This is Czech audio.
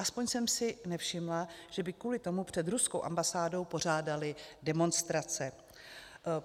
Aspoň jsem si nevšimla, že by kvůli tomu před ruskou ambasádou pořádali demonstrace.